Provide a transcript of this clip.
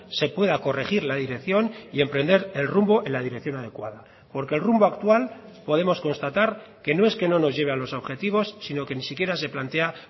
se pueda corregir la dirección y emprender el rumbo en la dirección adecuada porque el rumbo actual podemos constatar que no es que no nos lleve a los objetivos sino que ni siquiera se plantea